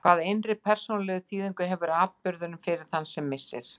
Hvaða innri persónulegu þýðingu hefur atburðurinn fyrir þann sem missir?